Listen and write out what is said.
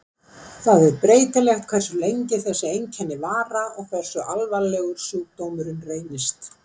það er breytilegt hversu lengi þessi einkenna vara og hversu alvarlegur sjúkdómurinn reynist